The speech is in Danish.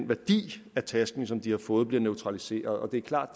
værdi af tasken som de har fået bliver neutraliseret og det er klart